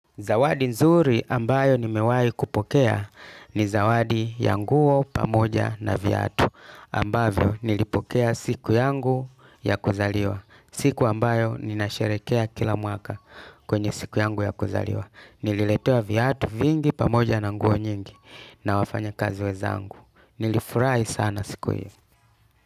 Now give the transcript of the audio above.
Zawadi nzuri ambayo ni mewai kupokea ni zawadi ya nguo pamoja na viatu ambavyo nilipokea siku yangu ya kuzaliwa siku ambayo nina sherekea kila mwaka kwenye siku yangu ya kuzaliwa nililetewa viatu vingi pamoja na nguo nyingi na wafanya kazi weza ngu. Nilifurai sana siku hiyo.